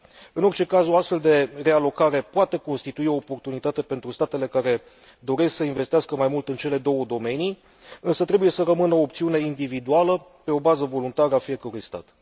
În orice caz, o astfel de realocare poate constitui o oportunitate pentru statele care doresc să investească mai mult în cele două domenii, însă trebuie să rămână o opțiune individuală, pe o bază voluntară, a fiecărui stat.